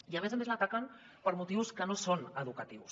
i a més a més l’ataquen per motius que no són educatius